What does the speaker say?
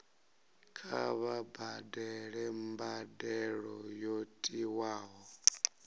kha vha badele mbadelo yo tiwaho